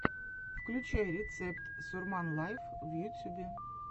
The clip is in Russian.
включай рецепт сурман лайв в ютюбе